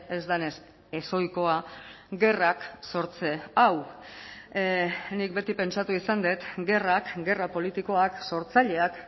ez denez ezohikoa gerrak sortze hau nik beti pentsatu izan dut gerrak gerra politikoak sortzaileak